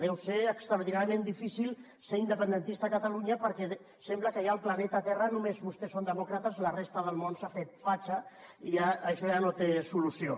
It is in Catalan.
deu ser extraordinàriament difícil ser independentista a catalunya perquè sembla que ja al planeta terra només vostès són demòcrates i la resta del món s’ha fet fatxa i això ja no té solució